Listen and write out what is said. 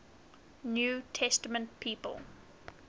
new testament people